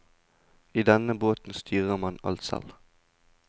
I denne båten styrer man alt selv.